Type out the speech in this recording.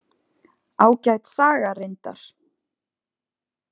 Ágæt saga reyndar.